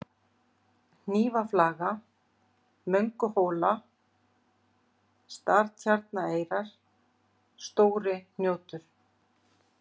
Hnífaflaga, Mönguhola, Startjarnareyrar, Stóri-Hnjótur